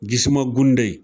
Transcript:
Jisuman gunde.